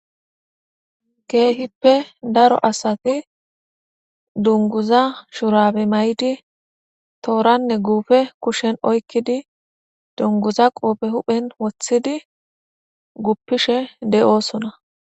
keehippe daro asati dunguza shurabe may7di tooranne guufe kushshen oykkidi dunguza qoophe huphen wothidi guppishe de7oosona